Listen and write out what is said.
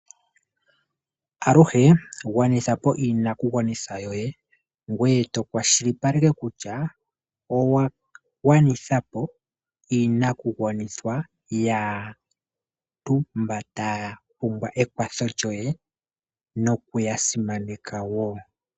Aluhe gwanitha po iinakugwanithwa yoye, ngoye to kwashilipaleke kutya owa gwanitha po iinakugwanithwa yaantu mba ya pumbwa ekwatho lyoye, nokuya simaneka wo.